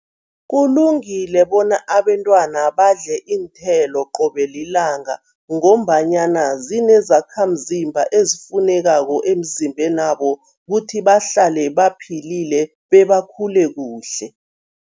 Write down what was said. Kulungile bona abentwana badle iinthelo qobe lilanga ngombanyana zinezakhamzimba ezifunekako emzimbenabo kuthi bahlale baphilile bebakhule kuhle.